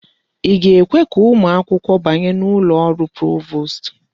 Ị ga-ekwe ka ụmụ akwụkwọ banye n'ụlọ ọrụ provost?